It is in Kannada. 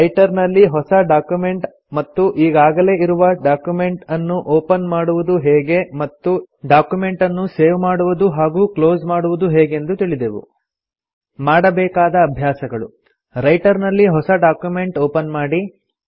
ರೈಟರ್ ನಲ್ಲಿ ಹೊಸ ಡಾಕ್ಯುಮೆಂಟ್ ಮತ್ತು ಈಗಾಗಲೆ ಇರುವ ಡಕ್ಯುಮೆಂಟನ್ನು ಒಪನ್ ಮಾಡುವುದು ಹೇಗೆ ಮತ್ತು ಡಾಕ್ಯುಮೆಂಟನ್ನು ಸೇವ್ ಮಾಡುವುದು ಹಾಗೂ ಕ್ಲೊಸ್ ಮಾಡುವುದು ಹೇಗೆಂದು ತಿಳಿದೆವು ಮಾಡಬೇಕಾದ ಅಭ್ಯಾಸಗಳು - ರೈಟರ್ ನಲ್ಲಿ ಹೊಸ ಡಾಕ್ಯುಮೆಂಟ್ ಒಪನ್ ಮಾಡಿ